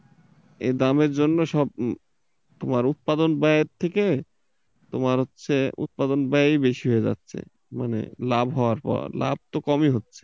এ দামের জন্য সব তোমার উৎপাদন ব্যয়ের থেকে তোমার হচ্ছে উৎপাদন ব্যায় বেশি হয়ে যাচ্ছে মানে লাভ হওয়ার পর, লাভ তো কমই হচ্ছে।